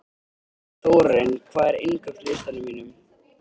Þórarinn, hvað er á innkaupalistanum mínum?